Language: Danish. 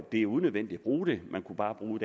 er unødvendigt at bruge dem man kunne bare bruge